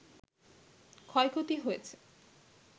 ক্ষয়ক্ষতি হয়েছে